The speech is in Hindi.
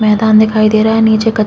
मैदान दिखाई दे रहा है नीचे कच --